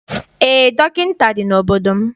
Eé, dọkịta dị n'obodo m.